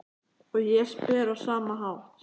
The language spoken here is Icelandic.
Og ég spyr á sama hátt